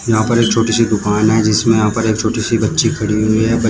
यहां पर एक छोटी सी दुकान है जिसमें यहां पर एक छोटी सी बच्ची खड़ी हुई है ब--